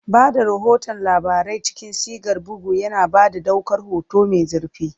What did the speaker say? Ba da rahoton labarai cikin sigar bugu, yana ba da ɗaukar hoto mai zurfi.